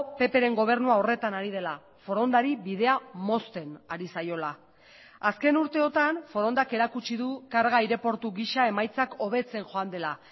ppren gobernua horretan ari dela forondari bidea mozten ari zaiola azken urteotan forondak erakutsi du karga aireportu gisa emaitzak hobetzen joan dela